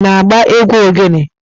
Ị na-agba egwu ogelè?